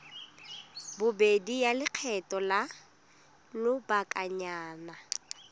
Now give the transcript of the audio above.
bobedi ya lekgetho la lobakanyana